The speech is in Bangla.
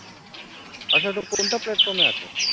আচ্ছা তো কোনটা platform এ আছে